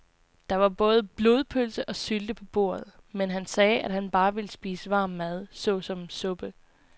Der var både blodpølse og sylte på bordet, men han sagde, at han bare ville spise varm mad såsom suppe.